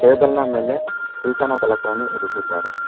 Table ನ ಮೇಲೆ ಸೂಚನ ಫಲಕವನ್ನು ಇರಿಸಿದ್ದಾರೆ.